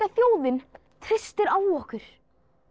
þjóðin treystir á okkur